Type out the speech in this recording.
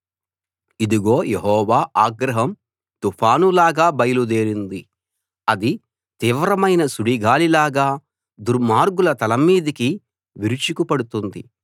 ఇదిగో యెహోవా ఆగ్రహం తుఫానులాగా బయలుదేరింది అది తీవ్రమైన సుడిగాలిలాగా దుర్మార్గుల తల మీదికి విరుచుకుపడుతుంది